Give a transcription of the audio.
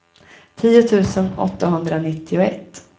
tio tusen åttahundranittioett